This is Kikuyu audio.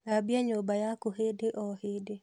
Thambia nyũmba yaku hĩndĩ o hĩndĩ